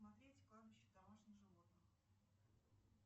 смотреть кладбище домашних животных